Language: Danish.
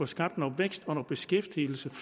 skabes noget vækst og beskæftigelse